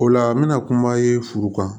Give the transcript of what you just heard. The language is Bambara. O la n bɛna kuma ye furu kan